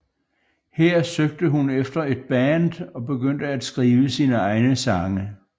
Her søgte hun efter et band og begyndte at skrive sine egne sange